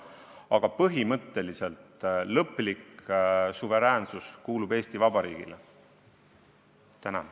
Aga põhimõtteliselt on Eesti Vabariik täiesti suveräänne.